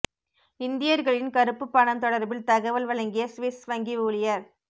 இந்தியர்களின் கறுப்பு பணம் தொடர்பில் தகவல் வழங்கிய சுவிஸ் வங்கி ஊழியர்